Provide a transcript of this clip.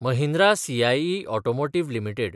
Mahindra CIE automotive limited